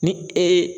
Ni ee